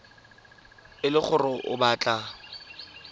e le gore o batla